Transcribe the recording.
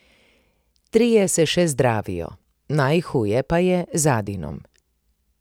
Trije se še zdravijo, najhuje pa je z Adinom.